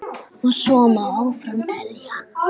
Og svo má áfram telja.